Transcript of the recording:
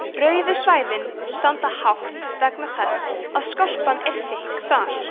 rauðu svæðin standa hátt vegna þess að skorpan er þykk þar